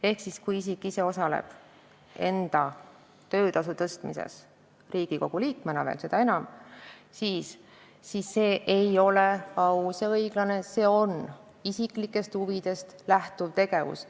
Ehk kui isik ise osaleb enda töötasu tõstmises – Riigikogu liikmena seda enam –, siis see ei ole aus ja õiglane, see on isiklikest huvidest lähtuv tegevus.